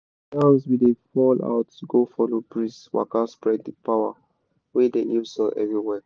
the yans we da fall out go follow breeze waka spread the power wey dey heal soil everywhere.